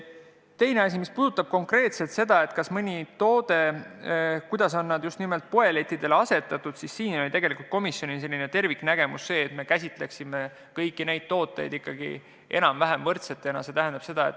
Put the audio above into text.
Teiseks, mis puudutab konkreetselt seda, kuidas teatud tooted on poelettidele asetatud, siis komisjonil oli selline terviknägemus, et me käsitleme kõiki neid tooteid ikkagi enam-vähem võrdsetena.